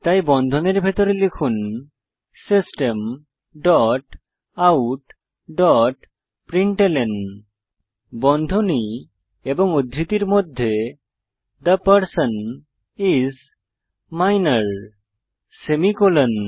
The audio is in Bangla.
তাই বন্ধনীর ভিতরে লিখুন system dot out dot println বন্ধনী এবং উদ্ধৃতির মধ্যে the person is minor semicolon